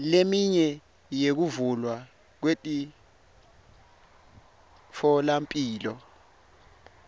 leminye yokuvulwa kwemitfolamphilo